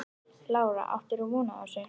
Lára: Áttir þú von á þessu?